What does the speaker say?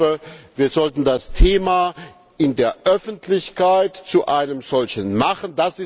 Ich glaube, wir sollten das Thema in der Öffentlichkeit zu einem solchen machen.